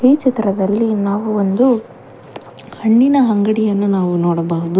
ಈ ಚಿತ್ರದಲ್ಲಿ ನಾವು ಒಂದು ಹಣ್ಣಿನ ಅಂಗಡಿಯನ್ನು ನಾವು ನೋಡಬಹುದು.